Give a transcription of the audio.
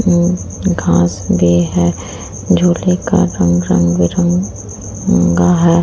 उम्म घास भी है। झूले का रंग रंग रंगबी उम्म का है।